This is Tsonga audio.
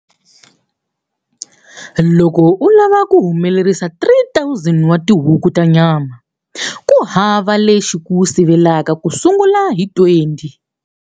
Loko u lava ku humelerisa 3 000 wa tihuku ta nyama, ku hava lexi ku sivelaka ku sungula hi 20.